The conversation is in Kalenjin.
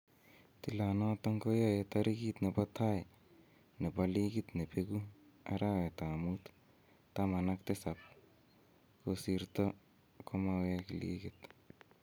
Tilanoton koyae tarigit nebo tai nebo ligit ne beegu Arawetab Mut 17, kosirto komawek ligit